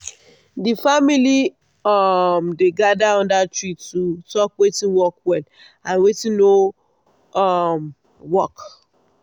the family um dey gather under tree to talk watin work well and watin no um work.